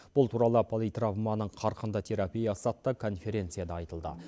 бұл туралы политравманың қарқынды терапиясы атты конференцияда айтылды